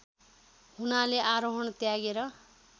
हुनाले आरोहण त्यागेर